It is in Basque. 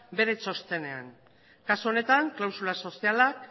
bere txostenean kasu honetan klausula sozialak